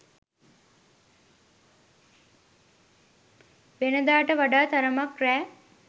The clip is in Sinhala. වෙනදාට වඩා තරමක් රෑ